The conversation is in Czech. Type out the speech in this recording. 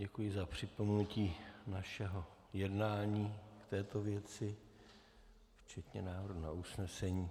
Děkuji za připomenutí našeho jednání k této věci včetně návrhu na usnesení.